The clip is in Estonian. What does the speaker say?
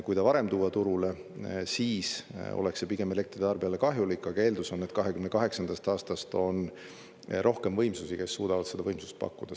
Kui ta varem tuua turule, siis oleks see pigem elektritarbijale kahjulik, aga eeldus on, et 2028. aastast on rohkem võimsusi, mis suudavad seda võimsust pakkuda.